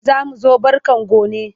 Za mu zo barka gone.